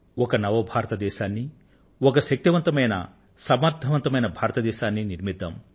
ఒక new India ను ఒక సశక్తమైన సమర్థవంతమైన భారతదేశాన్ని నిర్మిద్దాం